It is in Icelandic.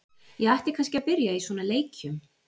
Ég ætti kannski að byrja í svona leikjum.